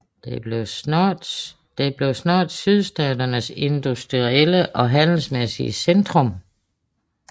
Den blev snart sydstaternes industrielle og handelsmæssige centrum